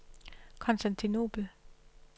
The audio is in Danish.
Konstantinobel